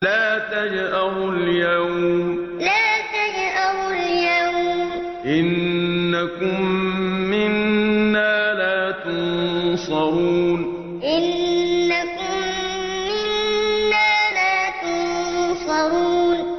لَا تَجْأَرُوا الْيَوْمَ ۖ إِنَّكُم مِّنَّا لَا تُنصَرُونَ لَا تَجْأَرُوا الْيَوْمَ ۖ إِنَّكُم مِّنَّا لَا تُنصَرُونَ